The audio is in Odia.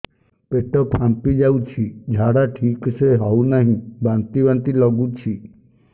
ପେଟ ଫାମ୍ପି ଯାଉଛି ଝାଡା ଠିକ ସେ ହଉନାହିଁ ବାନ୍ତି ବାନ୍ତି ଲଗୁଛି